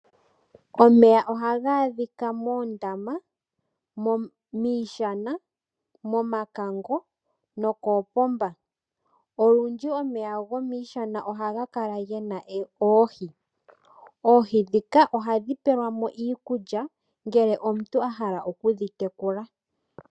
Omeya ohaga adhika moondama, miishana, momakango nokoopomba. Olundji omeya gomiishana ohaga kala gena oohi. Oohi dhika ohadhi pelwa mo iikulya ngele omuntu a hala okudhi tekula.